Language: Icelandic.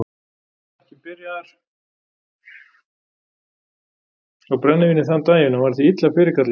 Hann var ekki byrjaður á brennivíni þann daginn og var því illa fyrirkallaður.